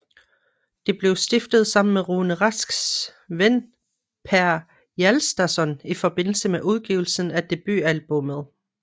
Det blev stiftet sammen med Rune Rasks ven Per Hjaltason i forbindelse med udgivelsen af debutalbummet